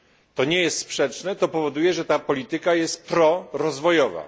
To nie jest sprzeczne, to powoduje, że ta polityka jest prorozwojowa.